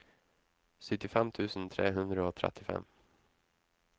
syttifem tusen tre hundre og trettifem